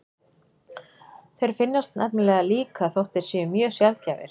Þeir finnast nefnilega líka þótt þeir séu mjög sjaldgæfir.